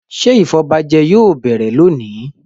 Ṣé ìfọbajẹ yóò bẹ̀rẹ̀ lónìí??